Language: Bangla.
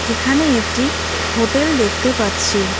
এখানে একটি হোটেল দেখতে পাচ্ছি।